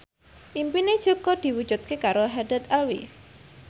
impine Jaka diwujudke karo Haddad Alwi